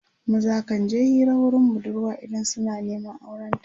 maza kan je Hira wurin budurwa idan suna Neman auren ta